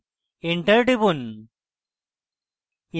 enter টিপুন